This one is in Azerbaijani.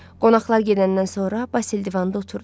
Qonaqlar gedəndən sonra Basil divanda oturdu.